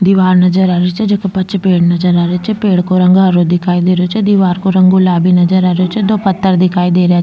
दिवार नजर आ रही छे जेके पाछे पेड़ नजर आ रही छे पेड़ को रंग हैरो दिखाई दे रही छे दिवार को रंग गुलाबी नजर आ रही छे दो पत्थर दिखाई रा --